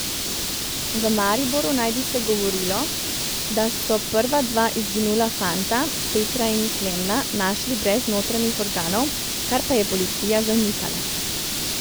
V Mariboru naj bi se govorilo, da so prva dva izginula fanta, Petra in Klemna, našli brez notranjih organov, kar pa je policija zanikala.